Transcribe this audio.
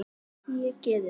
Hún er tæpast vinkona mín.